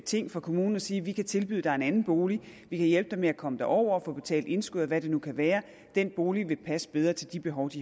ting for kommunen at sige vi kan tilbyde dig en anden bolig vi kan hjælpe dig med at komme derover og få betalt indskuddet eller hvad det nu kan være den bolig vil passe bedre til de behov